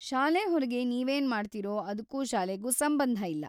ಶಾಲೆ ಹೊರಗೆ ನೀವೇನ್ ಮಾಡ್ತೀರೋ ಅದ್ಕೂ ಶಾಲೆಗೂ ಸಂಬಂಧ ಇಲ್ಲ.